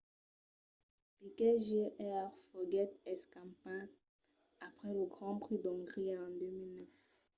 piquet jr. foguèt escampat après lo grand prix d'ongria en 2009